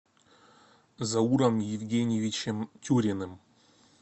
зауром евгеньевичем тюриным